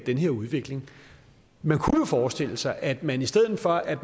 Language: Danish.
den her udvikling man kunne jo forestille sig at man i stedet for at